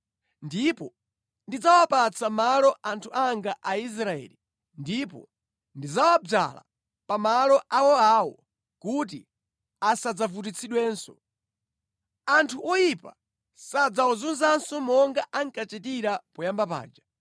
Ndipo ndidzawapatsa malo anthu anga Aisraeli ndipo ndidzawadzala pamalo awoawo kuti asadzavutitsidwenso. Anthu oyipa sadzawazunzanso monga ankachitira poyamba paja,